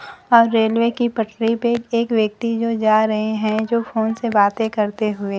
और रेलवे की पटरी पे एक व्यक्ति जो जा रहे हैं जो फोन से बातें करते हुए।